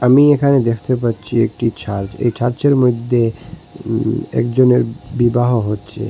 আমি এখানে দেখতে পাচ্ছি একটি চার্জ এই ছার্চের মইধ্যে উম একজনের বিবাহ হচ্ছে।